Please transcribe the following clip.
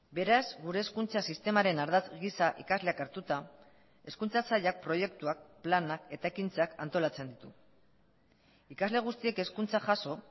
beraz gure hezkuntza sistemaren ardatz gisa ikasleak hartuta hezkuntza sailak proiektuak planak eta ekintzak antolatzen ditu ikasle guztiek hezkuntza jaso